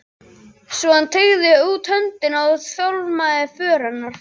Svo hann teygði út höndina og tálmaði för hennar.